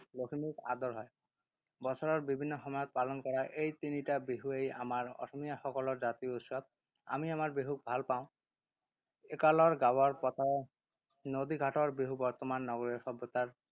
লখিমীক আদৰ হয়। বছৰৰ বিভিন্ন সময়ত পালন কৰা এই তিনিটা বিহুৱেই আমাৰ অসমীয়াসকলৰ জাতীয় উৎসৱ। আমি আমাৰ বিহুক ভাল পাওঁ। একালৰ গাঁৱৰ পথাৰৰ, নদীঘাটৰ বিহু বৰ্তমান নগৰীয়া সভ্যতাৰ